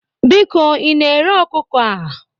Biko ị na-ere ọkụkọ a?